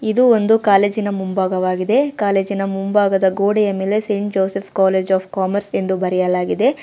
ಇದು ಒಂದು ಕಾಲೇಜಿನ ಮುಂಭಾಗವಾಗಿದೆ ಕಾಲೇಜಿನ ಮುಂಭಾಗದ ಗೋಡೆಯ ಮೇಲೆ Saint Joseph College of Commerce ಎಂದು ಬರೆಯಲಾಗಿದೆ.